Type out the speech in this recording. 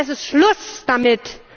Ich finde, es ist Schluss damit!